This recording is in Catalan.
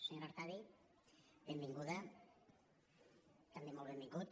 senyora artadi benvinguda també molt benvingut